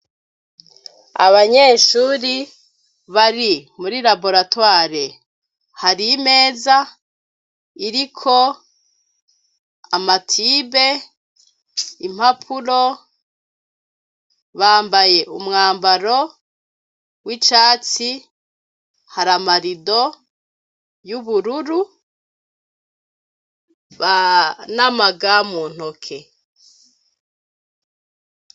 abanyeshuri bari muri laboratoire hari imeza iriko amatibe impapuro bambaye umwambaro w'icatsi haramarido y'ubururu banamagamu ntoke